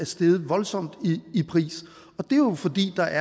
steget voldsomt i pris og det er jo fordi der